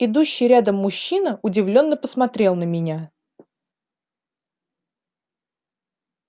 идущий рядом мужчина удивлённо посмотрел на меня